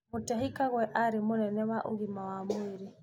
Mutahi Kagwe arĩ mũnene wa ũgima wa mwĩrĩ.